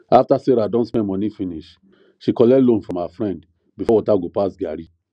after sarah don spend money finish she collect loan from her friend before water go pass garri